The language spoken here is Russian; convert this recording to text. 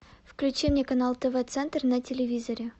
включи мне канал тв центр на телевизоре